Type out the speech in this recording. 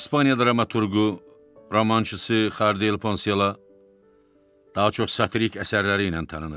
İspaniya dramaturqu, romançısı Xardiel Poncela daha çox satirik əsərləri ilə tanınır.